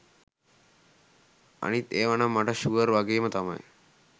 අනිත් ඒව නං මට ශුවර් වගේම තමයි